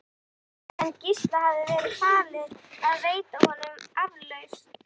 Sveins, en Gísla hafði verið falið að veita honum aflausn.